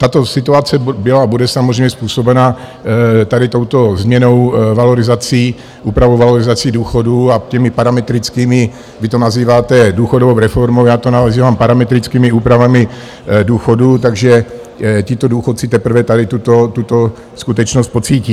Tato situace byla a bude samozřejmě způsobena tady touto změnou, valorizací, úpravou valorizací důchodů a těmi parametrickými - vy to nazýváte důchodovou reformou, já to nazývám parametrickými úpravami důchodů, takže tito důchodci teprve tady tuto skutečnost pocítí.